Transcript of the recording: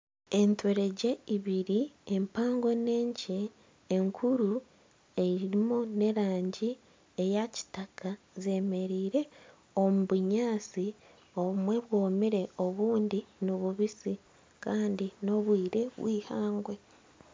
Enturegye ibiri empango n'enkye. Enkuru erimu n'erangi eya Kitaka. Zemereire omu bunyaatsi obumwe bwomire obundi ni bubisi Kandi n'obwire bwihangwe.